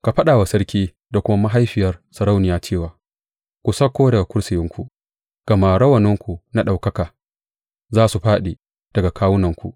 Ka faɗa wa sarki da kuma mahaifiyar sarauniya cewa, Ku sauko daga kursiyinku, gama rawaninku na ɗaukaka za su fāɗi daga kawunanku.